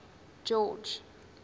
george